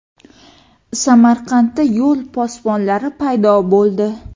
Samarqandda yo‘l posbonlari paydo bo‘ldi .